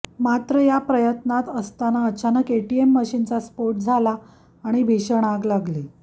मात्र या प्रयत्नात असताना अचानक एटीएम मशीनचा स्फोट झाला आणि भीषण आग लागली